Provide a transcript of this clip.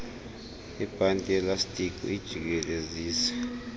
ibhanti yelastiki uyijikelezise